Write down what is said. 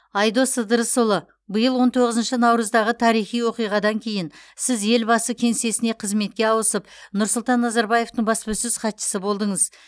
айдос ыдырысұлы биыл он тоғызыншы наурыздағы тарихи оқиғадан кейін сіз елбасы кеңсесіне қызметке ауысып нұрсұлтан назарбаевтың баспасөз хатшысы болдыңыз